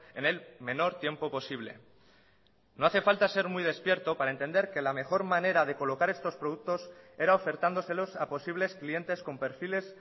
en el menor tiempo posible no hace falta ser muy despierto para entender que la mejor manera de colocar estos productos era ofertándoselos a posibles clientes con perfiles